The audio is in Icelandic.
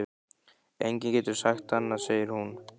Enginn getur sagt annað, segir hún.